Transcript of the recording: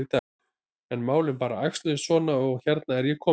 En málin bara æxluðust svona og hérna er ég komin.